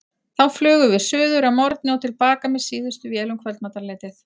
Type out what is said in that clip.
Þá flugum við suður að morgni og til baka með síðustu vél um kvöldmatarleytið.